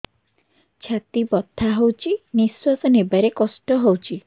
ଛାତି ବଥା ହଉଚି ନିଶ୍ୱାସ ନେବାରେ କଷ୍ଟ ହଉଚି